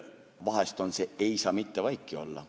Vahest on see "Ei saa mitte vaiki olla".